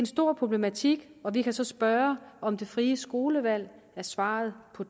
stor problematik og vi kan så spørge om det frie skolevalg er svaret på